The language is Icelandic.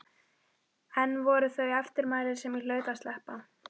Ein voru þó þau eftirmæli sem ég hlaut að sleppa.